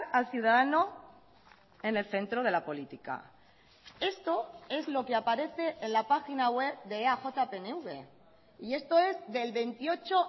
al ciudadano en el centro de la política esto es lo que aparece en la página web de eaj pnv y esto es del veintiocho